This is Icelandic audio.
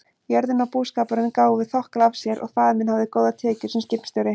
Jörðin og búskapurinn gáfu þokkalega af sér og faðir minn hafði góðar tekjur sem skipstjóri.